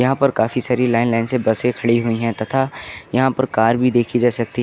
यहां पर काफी सारी लाइन लाइन से बसें खड़ी हुई हैं तथा यहां पर कार भी देखी जा सकती --